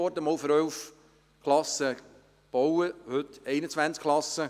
Es wurde einst für 11 Klassen gebaut, heute sind es 21 Klassen.